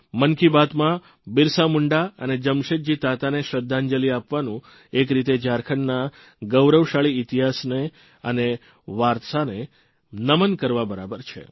મન કી બાતમાં બિરસા મુંડા અને જમશેદજી તાતાને શ્રદ્ધાંજલિ આપવાનું એક રીતે ઝારખંડના ગૌરવશાળી ઇતિહાસ અને વારસાને નમન કરવા બરાબર છે